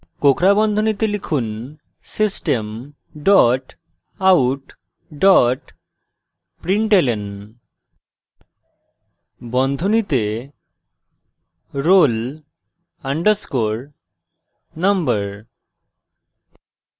কোঁকড়া বন্ধনীতে লিখুন system dot out dot println বন্ধনীতে roll _ number